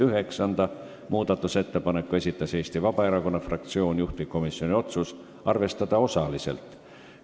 Üheksanda muudatusettepaneku on esitanud Eesti Vabaerakonna fraktsioon, juhtivkomisjoni otsus on arvestada osaliselt.